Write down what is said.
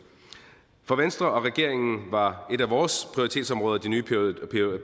for venstre og regeringen var et af vores prioritetsområder de nye